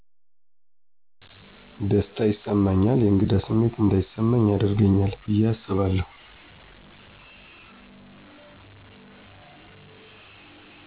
ደስታ ይሰማኛል የእንግዳ ስሜት እንዳይስማኚ ያደርገኛል ብየ አስባለሁ።